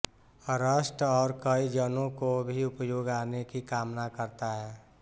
rust और कई जनों को भी उपयोग आने की कामना करता है